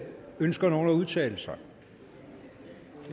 ønsker nogen at udtale sig det